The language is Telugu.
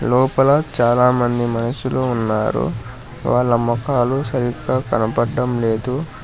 లోపల చాలామంది మనుషులు ఉన్నారు వాళ్ళ మొఖాలు సరిగ్గా కనబడటం లేదు.